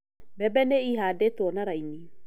Mbembe nĩ ihandĩtwo na raini.